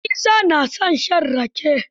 Isa na son shan rake.